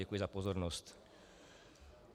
Děkuji za pozornost.